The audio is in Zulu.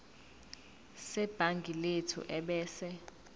sebhangi lethu ebese